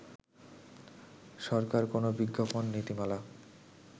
সরকার কোন বিজ্ঞাপন নীতিমালা